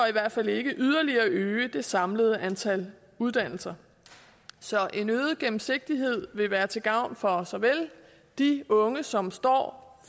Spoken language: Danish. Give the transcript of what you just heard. i hvert fald ikke yderligere øge det samlede antal uddannelser så en øget gennemsigtighed vil være til gavn for såvel de unge som står